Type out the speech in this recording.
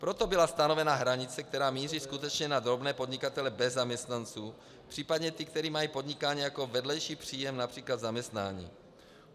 Proto byla stanovena hranice, která míří skutečně na drobné podnikatele bez zaměstnanců, případně ty, kteří mají podnikání jako vedlejší příjem například zaměstnání.